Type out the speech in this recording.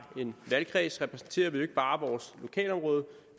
en valgkreds repræsenterer vi ikke bare vores lokalområde